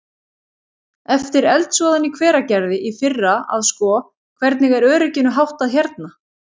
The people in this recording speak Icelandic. Eftir eldsvoðann í Hveragerði í fyrra að sko, hvernig er örygginu háttað hérna?